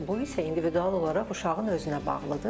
Bu isə individual olaraq uşağın özünə bağlıdır.